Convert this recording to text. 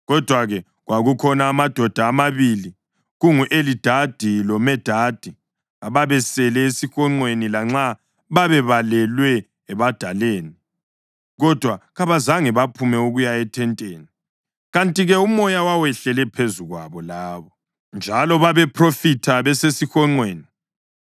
Kodwa-ke, kwakukhona amadoda amabili, kungu-Elidadi loMedadi ababesele esihonqweni. Lanxa babebalelwa ebadaleni, kodwa kabazange baphume ukuya eThenteni. Kanti-ke uMoya wawehlele phezu kwabo labo, njalo babephrofitha besesihonqweni.